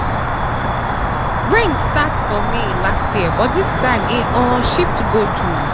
rain start for may last year but this time e um shift go june.